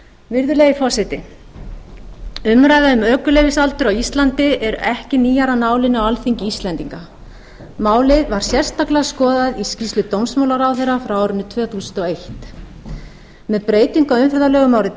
virðulegi forseti umræða um ökuleyfisaldur á íslandi eru ekki nýjar af nálinni á alþingi íslendinga málið var sérstaklega skoðað í skýrslu dómsmálaráðherra frá árinu tvö þúsund og eitt með breytingu á umferðarlögum árið tvö þúsund